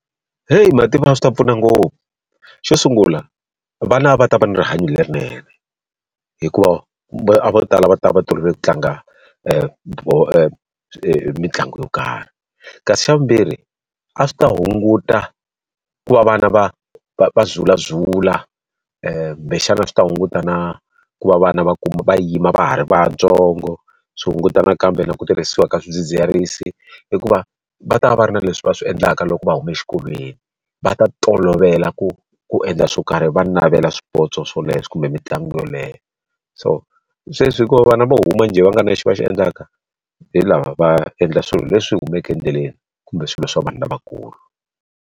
Heyi mativa a swi ta pfuna ngopfu. Xo sungula vana va ta va na rihanyo lerinene, hikuva vo tala va ta va va tolovele ku tlanga mitlangu yo karhi. Kasi xa vumbirhi, a swi ta hunguta ku va vana va va va zulazula kumbexana swi ta hunguta na ku va vana va kuma va yima va ha ri vantsongo, swi hunguta na kambe na ku tirhisiwa ka swidzidziharisi, hikuva va ta va va ri na leswi va swi endlaka loko va huma exikolweni. Va ta tolovela ku ku endla swo karhi, va navela swipotso swoleswo kumbe mitlangu yoleyo. So sweswi hikuva vana vo huma njhe va nga na lexi va xi endlaka, hi laha va endla swilo leswi humaka endleleni kumbe swilo swa vanhu lavakulu.